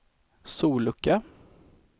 sollucka